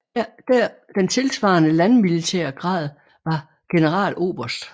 Den tilsvarende landmilitære grad var Generaloberst